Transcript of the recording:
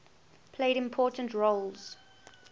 played important roles